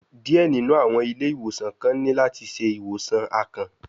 Diẹ ninu awọn ile-iwosan kan ni lati ṣe iwosan akàn